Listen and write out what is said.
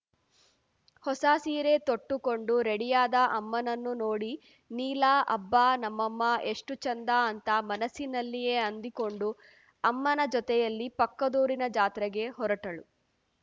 ಹೊಸ ಸೀರೆ ತೊಟ್ಟುಕೊಂಡು ರೆಡಿಯಾದ ಅಮ್ಮನನ್ನು ನೋಡಿ ನೀಲಾ ಅಬ್ಬಾ ನಮ್ಮಮ್ಮ ಎಷ್ಟುಚಂದ ಅಂತ ಮನಸ್ಸಿನಲ್ಲಿಯೇ ಅಂದುಕೊಂಡು ಅಮ್ಮನ ಜೊತೆಯಲ್ಲಿ ಪಕ್ಕದೂರಿನ ಜಾತ್ರೆಗೆ ಹೊರಟಳು